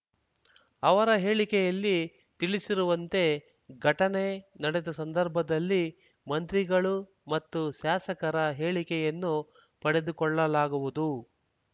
ಅವರ ಹೇಳಿಕೆಯಲ್ಲಿ ತಿಳಿಸಿರುವಂತೆ ಘಟನೆ ನಡೆದ ಸಂದರ್ಭದಲ್ಲಿ ಮಂತ್ರಿಗಳು ಮತ್ತು ಶಾಸಕರ ಹೇಳಿಕೆಯನ್ನು ಪಡೆದುಕೊಳ್ಳಲಾಗುವುದು